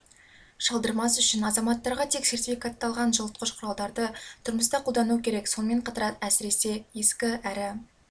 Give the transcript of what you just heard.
шалдырмас үшін азаматтарға тек сертификатталған жылытқыш құралдарды тұрмыста қолдану керек сонымен қатар әсіресе ескі әрі